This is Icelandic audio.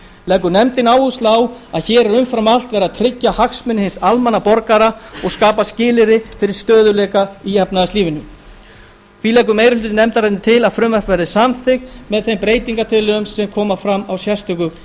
leggur nefndin áherslu á að hér er umfram allt verið að tryggja hagsmuni hins almenna borgara og skapa skilyrði fyrir stöðugleika í efnahagslífinu meiri hlutinn leggur til að frumvarpið verði samþykkt með þeim breytingartillögum sem koma fram á sérstöku